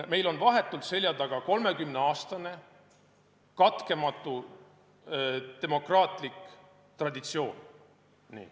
Meil on vahetult seljataga 30-aastane katkematu demokraatlik traditsioon.